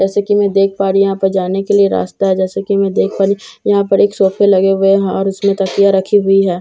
जैसे कि मैं देख पा रही हूं यहां पर जाने के लिए रास्ता है जैसे कि मैं देख पा रही हूं यहां पर एक सोफे लगे हुए हैं और उसमें तकिया रखी हुई है।